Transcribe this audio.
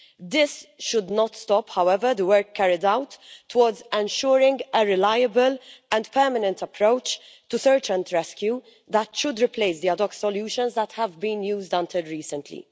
This should not stop, however, the work carried out towards ensuring a reliable and permanent approach to search and rescue that should replace the ad hoc solutions that have been used until recently.